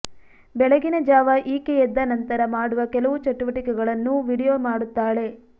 ಬೆಳಗಿನ ಜಾವ ಈಕೆ ಎದ್ದ ನಂತರ ಮಾಡುವ ಕೆಲವು ಚಟುವಟಿಕೆಗಳನ್ನೂ ವಿಡಿಯೋ ಮಾಡುತ್ತಾಳೆ